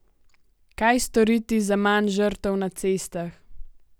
Kaj storiti za manj žrtev na cestah?